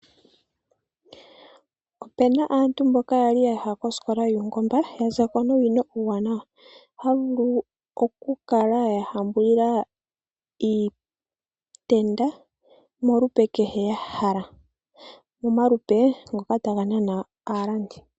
Opuna aantu mboka yali yaya kosikola yuungomba yazako nuunongo, ohaya vulu okukala ya hambula iitenda molupe kehe ya hala momalupe ngoka taga nana aalandi.